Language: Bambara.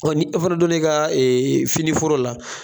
Ɔ ni e fɛnɛ donna i ka fini foro la